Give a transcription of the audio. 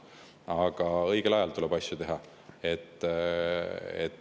Jah, õigel ajal tuleb asju teha.